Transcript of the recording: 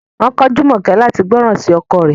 Wọn ko Jumoke lati gbọran si ọkọ rẹ̀